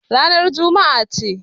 Ranar Juma'a ce.